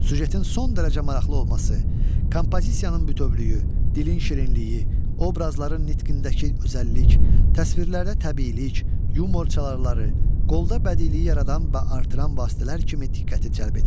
Süjetin son dərəcə maraqlı olması, kompozisiyanın bütövlüyü, dilin şirinliyi, obrazların nitqindəki özəllik, təsvirlərdə təbiilik, yumor çalarları qolda bədiiliyi yaradan və artıran vasitələr kimi diqqəti cəlb edir.